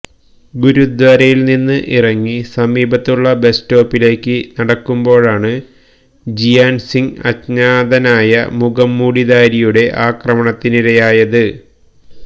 ഗുരുദ്വാരയില് നിന്ന് ഇറങ്ങി സമീപത്തുള്ള ബസ് സ്റ്റോപ്പിലേക്ക് നടക്കുമ്പോഴാണ് ജിയാന് സിംഗ് അജ്ഞാതനായ മുഖംമൂടിധാരിയുടെ ആക്രമണത്തിനിരയായത്